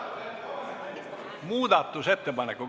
Muudatusettepanekut.